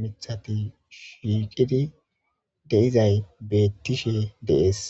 mithati shiiqidi deizay beettishe dees.